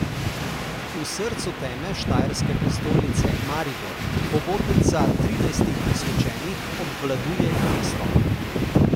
V srcu teme štajerske prestolnice Maribor hobotnica trinajstih posvečenih obvladuje mesto.